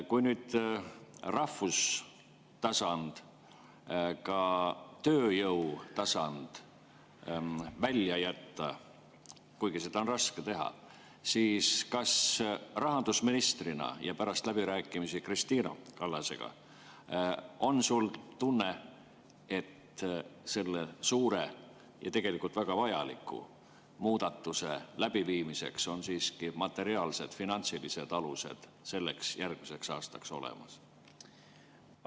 Kui nüüd rahvustasand, ka tööjõutasand välja jätta, kuigi seda on raske teha, siis kas rahandusministrina ja pärast läbirääkimisi Kristina Kallasega on sul tunne, et selle suure ja tegelikult väga vajaliku muudatuse läbiviimiseks on ikkagi materiaalsed, finantsilised alused järgmiseks aastaks olemas?